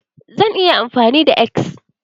Zan yi amfani da X.